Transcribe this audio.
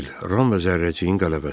Ram və Zərrəciyin qələbəsi.